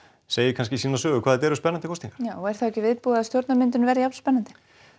segir sína sögu hvað þetta eru spennandi kosningar og er þá ekki viðbúið að verði jafn spennandi